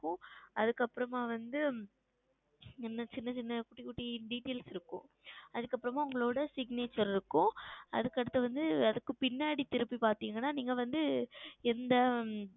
அதுக்கு அப்புறம் வந்து சின்ன சின்ன குட்டி குட்டி Details இருக்கும் அதுக்கு அப்புறம் உங்களுடைய Signature இருக்கும் அதுக்கு அடுத்து வந்து அதுக்கு பின்னாடி திருப்பி பார்த்தீர்கள் என்றால் நீங்கள் வந்து எந்த